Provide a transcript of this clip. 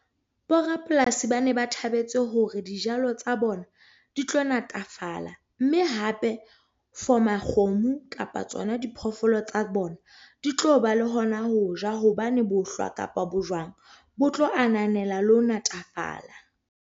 Borapolasi ba ne ba thabetse hore dijalo tsa bona di tlo natafala mme hape for makgomo kapa tsona diphoofolo tsa bona di tlo ba le hona ho ja hobane bohlwa kapa bojwang bo tlo ananela le ho natafala.